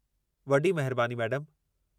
वॾी महिरबानी, मैडमु।